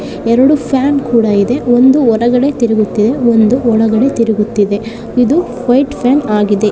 ಎರಡು ಫ್ಯಾನ್ ಕೂಡ ಇದೆ ಒಂದು ಹೊರಗಡೆ ತಿರುಗುತ್ತಿದೆ ಇನ್ನೊಂದು ಒಳಗಡೆ ತಿರುಗುತ್ತಿವೆ ಇದು ವೈಟ್ ಫ್ಯಾನ್ ಆಗಿದೆ.